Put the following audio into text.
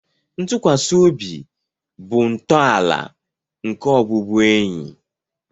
Ntụkwasị obi bụ ntọala nke ọbụbụenyi